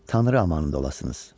Tanrı amanında olasınız.